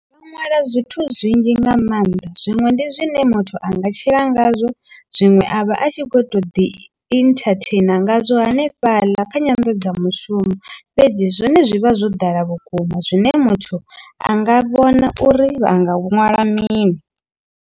Ndo ṅwala zwithu zwinzhi nga maanḓa zwiṅwe ndi zwine muthu anga tshila ngazwo zwiṅwe avha a tshi kho to ḓi entertainer ngazwo hanefhaḽa kha nyanḓadzamushumo fhedzi zwone zwivha zwo ḓala vhukuma zwine muthu anga vhona uri vhanga vhu ṅwala mini.